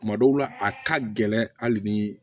Tuma dɔw la a ka gɛlɛn hali bi